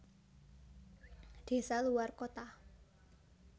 Desa luwar kota